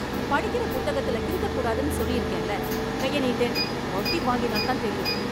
படிக்கற புத்தகத்துல கிறுக்கக் கூடாதுன்னு சொல்லிருக்கேன்ல... கையை நீட்டு, அடி வாங்கினாதான் தெரியும்...